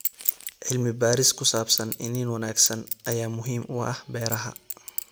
Cilmi baaris ku saabsan iniin wanaagsan ayaa muhiim u ah beeraha.